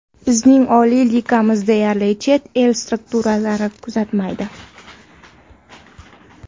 Bizning oliy ligamizni deyarli chet el skautlari kuzatmaydi.